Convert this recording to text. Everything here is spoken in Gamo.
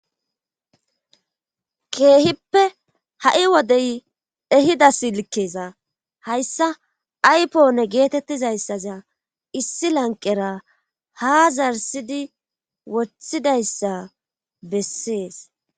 keehippe ha7i wodey ehida silkkeeza hayssa aypoone geetettizayssaza issi lanqera ha zarsidi wothidayssa bessees